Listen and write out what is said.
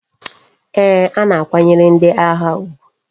Ee,a na akwanyere ndi agha ugwu